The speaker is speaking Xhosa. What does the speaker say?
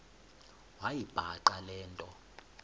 wayibhaqa le nto